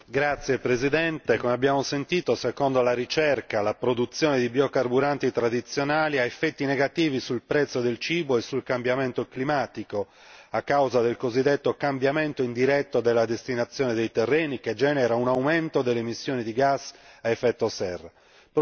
Signor Presidente, com'è già stato ribadito e secondo la ricerca, la produzione di biocarburanti tradizionali ha effetti negativi sul prezzo delle derrate alimentari e sul cambiamento climatico a causa del cosiddetto cambiamento indiretto della destinazione dei terreni che genera un aumento delle emissioni di gas a effetto serra.